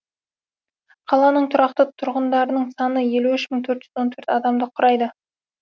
қаланың тұрақты тұрғындарының саны елу үш мың төрт жүз он төрт адамды құрайды